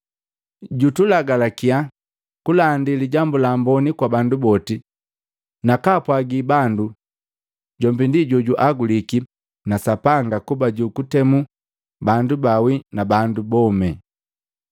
Jutulagalakya kulandi Lijambu la Amboni kwa bandu boti nakaapwagi bandu jombi ndi jojuaguliki na Sapanga kuba jukutemu bandu baawi na bandu bomi.